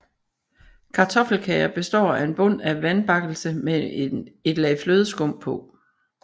Kartoffelkager består af en bund af vandbakkelse med et lag flødeskum på